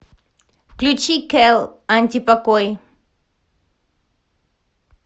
включи кел антипокой